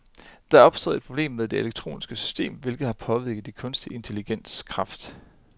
Der er opstået et problem med det elektroniske system, hvilket har påvirket de kunstige intelligensers kraft.